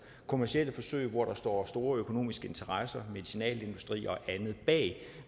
kommercielle forsøg hvor der står store økonomiske interesser medicinalindustri og andet bag